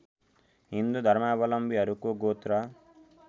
हिन्दू धर्मावलम्बीहरूको गोत्र